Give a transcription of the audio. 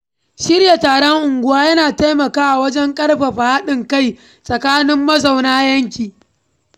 Shirya taron unguwa yana taimakawa wajen ƙarfafa haɗin kai tsakanin mazauna yanki.